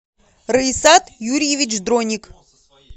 раисат юрьевич дроник